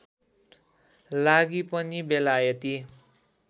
लागि पनि बेलायती